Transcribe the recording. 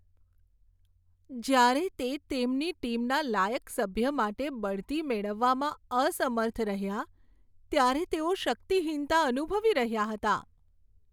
જ્યારે તે તેમની ટીમના લાયક સભ્ય માટે બઢતી મેળવવામાં અસમર્થ રહ્યાં, ત્યારે તેઓ શક્તિહીનતા અનુભવી રહ્યા હતા.